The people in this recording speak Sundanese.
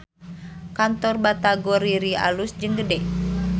Kantor Batagor Riri alus jeung gede